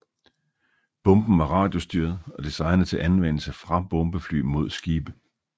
Bomben var radiostyret og designet til anvendelse fra bombefly mod skibe